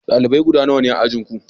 dalibai guda nawa ne a ajin Ku?